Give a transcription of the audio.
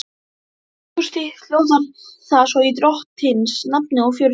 Nokkuð stytt hljóðar það svo í drottins nafni og fjörutíu